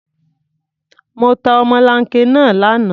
Mo ta ọmọlanke náà lánàá.